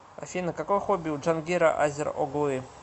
афина какое хобби у джангира азер оглы